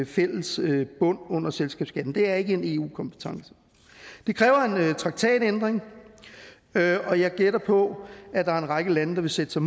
fælles bund under selskabsskatten det er ikke en eu kompetence det kræver en traktatændring og jeg gætter på at der er en række lande der vil sætte sig